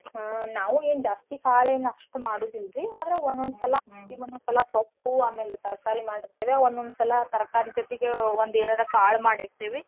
ಹಾ ನಾವೂ ಏನ್ ಜಾಸ್ತಿ ಕಾಳೆೇನ್ ಅಸ್ಟ್ ಮಾಡೋದಿಲ್ರೀ ಆದ್ರ ಒಂದೊಂದ್ಸಲಾ ಒಂದೊಂದ್ಸಲಾ ಈ ಸೊಪ್ಪು ಆಮೇಲ್ ತರ್ಕಾರೀ ಮಾಡಿರ್ತಿವ್ಯಾ ಒಂದೊಂದ್ಸಲಾ ತರ್ಕಾರೀ ಜೋತಿಗೆ ಒಂದೇನರ ಕಾಳ್ ಮಾಡಿರ್ತಿವಿ.